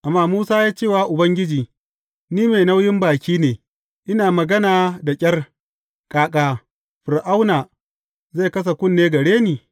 Amma Musa ya ce wa Ubangiji, Ni mai nauyin baki ne, ina magana da ƙyar, ƙaƙa Fir’auna zai kasa kunne gare ni?